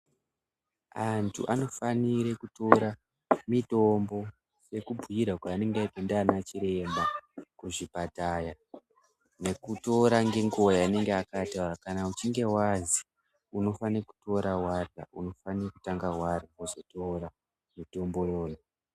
Antu anofanirwe kutora mitombo sekubhuyirwa kwaanenge aitwa ndiana chiremba kuzvipatara nekutora nenguva inenge yataurwa kana uchinge wazi unofane kutora warya unofane kutange warya wozotora mutombo iwowo.